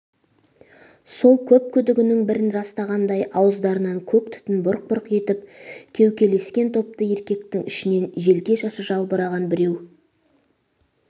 сол көп күдігінің бірін растағандай ауыздарынан көк түтін бұрқ-бұрқ етіп кеу-кеулескен топты еркектің ішінен желке шашы жалбыраған біреу